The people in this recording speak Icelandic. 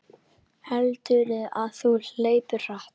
Heldurðu að þú hlaupir hratt?